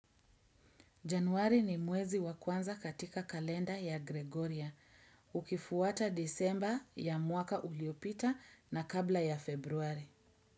Januari ni mwezi wa kwanza katika kalenda ya Gregoria. Ukifuata disemba ya mwaka uliopita na kabla ya februari.